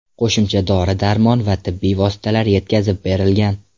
Qo‘shimcha dori-darmon va tibbiy vositalar yetkazib berilgan.